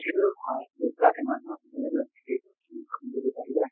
সেইটো হয়